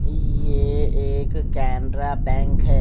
ये एक केनरा बैंक है।